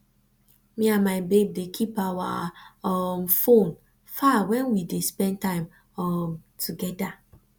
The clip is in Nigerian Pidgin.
me and my babe dey keep our um fone far wen we dey spend time um togeda